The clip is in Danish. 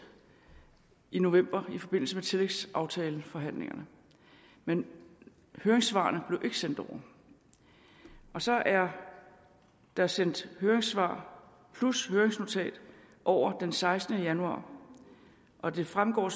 i november i forbindelse med tillægsaftaleforhandlingerne men høringssvarene blev ikke sendt over og så er der sendt høringssvar plus høringsnotat over den sekstende januar og det fremgår